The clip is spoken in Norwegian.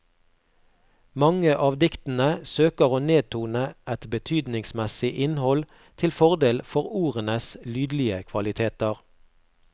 Mange av diktene søker å nedtone et betydningsmessig innhold til fordel for ordenes lydlige kvaliteter.